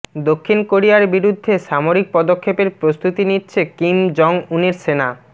দক্ষিণ কোরিয়ার বিরুদ্ধে সামরিক পদক্ষেপের প্রস্তুতি নিচ্ছে কিম জং উনের সেনা